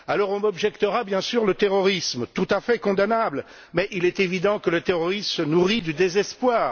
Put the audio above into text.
On m'objectera bien sûr le terrorisme, tout à fait condamnable, mais il est évident que le terrorisme se nourrit du désespoir.